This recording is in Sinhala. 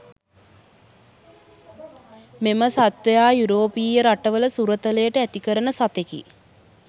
මෙම සත්ත්වයා යුරෝපීය රටවල සුරතලයට ඇතිකරන සතෙකි